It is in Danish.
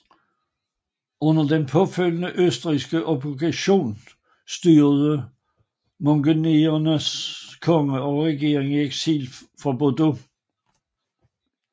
Under den påfølgende østrigske okkupation styrede montenegrinernes konge og regering i eksil fra Bordeaux